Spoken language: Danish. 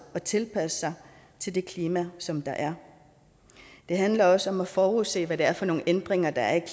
og tilpasse sig til det klima som der er det handler også om at forudse hvad hvad for nogle ændringer der er i